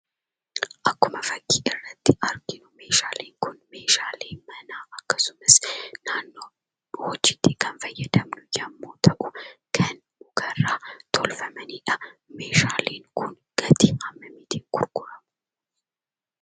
Akkuma fakkii irratti arginu meeshaaleen kun meeshaalee manaa akkasumas naannoo hojiitti kan fayyadamnu yemmoo ta'u kan mukarraa tolfamanidha. Meeshaaleen kun gatii hammamiitiin gurguramu?